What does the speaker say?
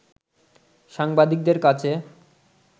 সাংবাদিকদের কাছে